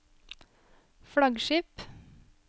flaggskip